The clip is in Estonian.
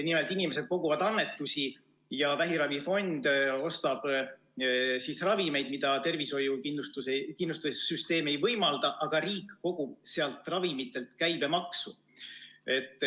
Nimelt, inimesed koguvad annetusi ja vähiravifond ostab ravimeid, mida tervishoiu kindlustussüsteem ei võimalda, aga riik kogub ka nendelt ravimitelt käibemaksu.